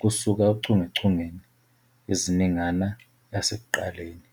kusuka ochungechungeni eziningana yasekuqaleni.